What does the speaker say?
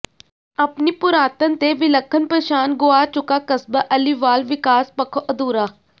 ਆਪਣੀ ਪੁਰਾਤਨ ਤੇ ਵਿਲੱਖਣ ਪਛਾਣ ਗੁਆ ਚੁੱਕਾ ਕਸਬਾ ਅਲੀਵਾਲ ਵਿਕਾਸ ਪੱਖੋਂ ਅਧੂਰਾ